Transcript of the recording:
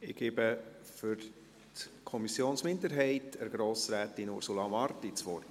Ich gebe für die Kommissionsminderheit Grossrätin Ursula Marti das Wort.